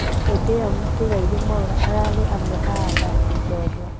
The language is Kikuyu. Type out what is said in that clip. hedeĩyo mũtigaire Mwaura ararĩ amwe a athaki jorua